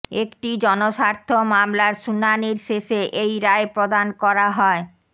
একটি জনস্বার্থ মামলার শুনানির শেষে এই রায় প্রদান করা হয়